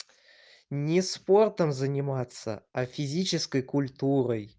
не спортом заниматься а физической культурой